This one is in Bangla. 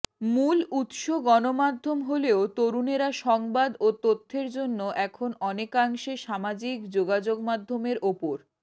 মূল উৎস গণমাধ্যম হলেও তরুণেরা সংবাদ ও তথ্যের জন্য এখন অনেকাংশে সামাজিক যোগাযোগমাধ্যমের ওপর